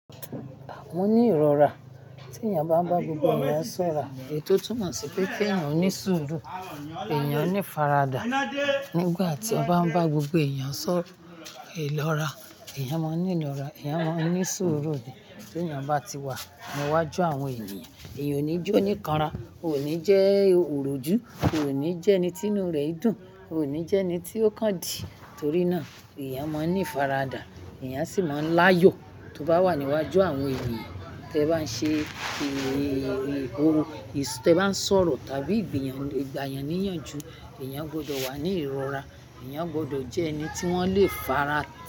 Mo ní ìrora. Tí ènìyàn bá ń bá gbogbo ènìyàn sọ̀rọ̀, èyí tó tún mọ̀ sí pé kí ènìyàn ó ní sùúrù, ènìyàn ní faradà. Nígbà tí ọ bá ń bá gbogbo ènìyàn sọ ìlọ́ra, ènìyàn máa ń ní ìrora, ènìyàn máa ń ní sùúrù ni. Tí ènìyàn bá ti wà ní iwájú àwọn ènìyàn, ènìyàn ò ní ju oníkanra, ò ní jẹ́ òròjú, ò ní jẹ́ ẹni tí inú rẹ̀ i dùn, ò ní jẹ́ ẹni tí ó kándì. Torí náà ènìyàn máa ń ní faradà, ènìyàn sì máa ń láyọ̀ tó bá wà ní iwájú àwọn ènìyàn. Tẹ bá ń ṣe èrè orò, tẹ bá ń sọ̀rọ̀ tàbí gbìyànjú, ènìyàn gbọdọ̀ wà ní ìrora, ènìyàn gbọdọ̀ jẹ ẹni tí wọ́n lè fara pa.